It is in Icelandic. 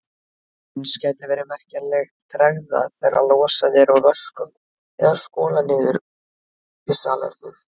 Eins gæti verið merkjanleg tregða þegar losað er úr vöskum eða skolað niður í salernum.